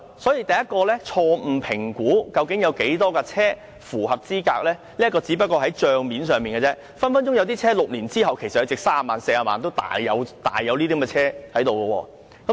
所以，第一，是政府錯誤評估究竟有多少車輛符合資格，這個只是帳面上的數字，有些車輛在6年之後，隨時還值三四十萬元，這些車多的是。